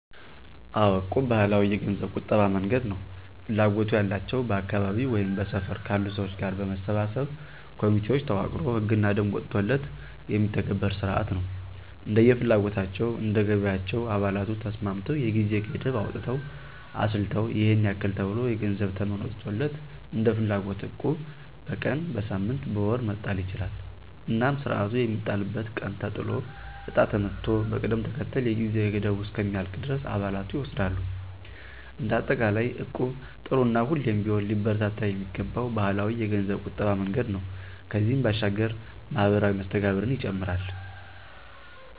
አዎ... እቁብ ባህላዊ የገንዘብ ቁጠባ መንገድ ነው። ፍላጎቱ ያላቸው በአካባቢው ወይም በሰፈር ካሉ ሰዎች ጋር በመሰባሰብ ኮሚቴዎች ተዋቅሮ ህግና ደንብ ወጥቶለት የሚተገብር ስርዓት ነው። እንደየ ፍላጎታቸው፣ እንደ ገቢያቸው አባላቱ ተስማምተው የጊዜ ገደብ አውጥተው አስልተው ይሔን ያክል ተብሎ የገንዘብ ተመን ወጥቶለት እንደፍላጎት እቁብ በቀን፣ በሳምንት፣ በወር መጣል ይቻላል። እናም ስርዓቱ የሚጣልበት ቀን ተጥሎ እጣ ተመቶ በቅደም ተከተል የጊዜ ገደቡ እስከሚያልቅ ድረስ አባላቱ ይወስዳሉ። እንደ አጠቃላይ እቁብ ጥሩ እና ሁሌም ቢሆን ሊበረታታ የሚገባው ባህላዊ የገንዘብ ቁጠባ መንገድ ነው። ከዚህም ባሻገር ማህበራዊ መስተጋብርን ይጨምራል።